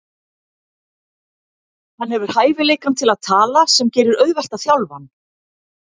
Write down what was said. Hann hefur hæfileikann til að tala sem gerir auðvelt að þjálfa hann.